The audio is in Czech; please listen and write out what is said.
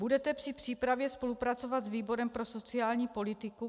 Budete při přípravě spolupracovat s výborem pro sociální politiku?